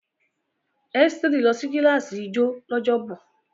Esteri lọ sí kíláàsì ijó lọ́jọ́bọ̀.